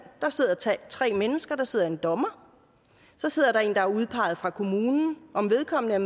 der sidder tre mennesker der sidder en dommer så sidder der en der er udpeget fra kommunen om vedkommende er